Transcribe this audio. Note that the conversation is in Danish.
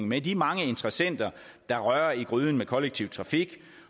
med de mange interessenter der rører i gryden med kollektiv trafik